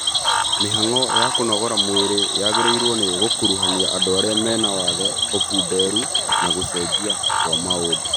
Mĩhang'o ya kũnogora mwĩrĩ yagĩrĩirwo nĩ gũkuruhania andũ arĩa mena wathe, ũkunderu, na gũcenjia kwa maũndũ